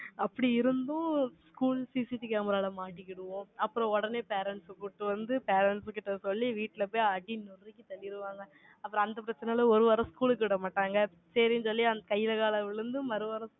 அப்படி இருந்தும், schoolCCTVcamera ல மாட்டிக்கிடுவோம் அப்புறம் உடனே parents அ கூட்டிட்டு வந்து, parents கிட்ட சொல்லி, வீட்ல போய் அடி நொறுக்கி தள்ளிருவாங்க. அப்புறம் அந்த பிரச்சனையில, ஒரு வாரம் school க்கு விடமாட்டாங்க. சரின்னு சொல்லி, அந்த கையில, கால விழுந்து, மறுவாரம்